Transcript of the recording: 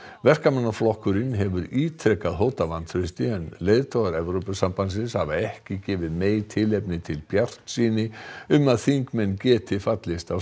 verkamannaflokkurinn hefur ítrekað hótað vantrausti en leiðtogar Evrópusambandsins hafa ekki gefið tilefni til bjartsýni um að þingmenn geti fallist á